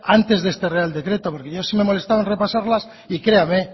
antes de este real decreto porque yo sí me he molestado en repasarlas y créame